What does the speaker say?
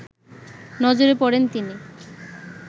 নজরে পড়েন তিনি